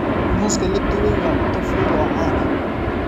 Muuska la dubay waa cunto fudud oo caan ah.